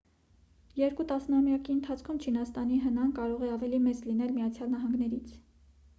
երկու տասնամյակի ընթացքում չինաստանի հնա-ն կարող է ավելի մեծ լինել միացյալ նահանգներինից